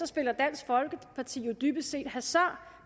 spiller dansk folkeparti dybest set hasard